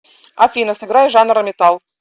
афина сыграй жанр метал